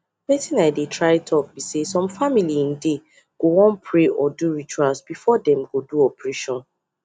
wetin i dey try talk be saysome family en dey go wan pray or do rituals before them go do operation